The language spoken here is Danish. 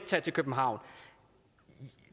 tage til københavn